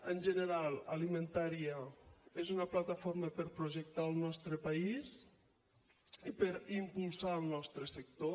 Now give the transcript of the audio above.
en general alimentaria és una plataforma per projectar el nostre país i per impulsar el nostre sector